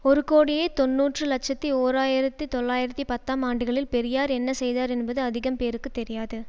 ஒரு கோடியே தொன்னூறு இலட்சத்தி ஓர் ஆயிரத்தி தொள்ளாயிரத்தி பத்தாம் ஆண்டுகளில் பெரியார் என்ன செய்தார் என்பது அதிகம் பேருக்கு தெரியாது